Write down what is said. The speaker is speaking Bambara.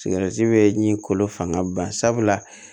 bɛ ɲi kolo fanga ban sabula